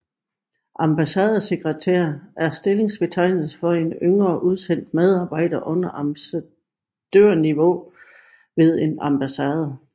Ambassadesekretær er stillingsbetegnelse for en yngre udsendt medarbejder under ambassadørniveau ved en ambassade